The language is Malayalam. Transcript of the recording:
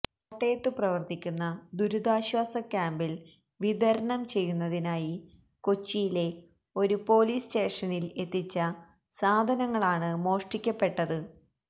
കോട്ടയത്തു പ്രവര്ത്തിക്കുന്ന ദുരിതാശ്വാസ ക്യാമ്ബില് വിതരണം ചെയ്യുന്നതിനായി കൊച്ചിയിലെ ഒരു പൊലീസ് സ്റ്റേഷനില് എത്തിച്ച സാധനങ്ങളാണ് മോഷ്ടിക്കപ്പെട്ടത്